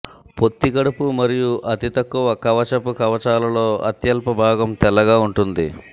పొత్తికడుపు మరియు అతి తక్కువ కవచపు కవచాలలో అత్యల్ప భాగం తెల్లగా ఉంటుంది